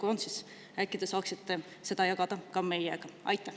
Kui on, siis äkki te saaksite seda jagada ka meiega?